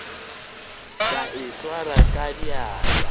ka e swara ka diatla